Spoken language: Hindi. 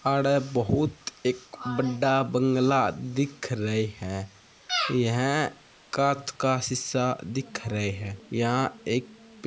आड़े बहुत एक बड़ा बंगला दिख रहे हैं यह कांच का शीसा दिख रहे हैंयहां एक पे --